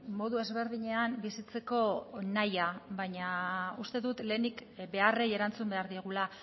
modu ezberdinean bizitzeko nahia baina uste dut lehenik beharrei erantzun behar diogula